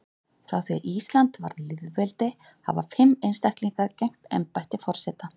Frá því að Ísland varð lýðveldi hafa fimm einstaklingar gegnt embætti forseta.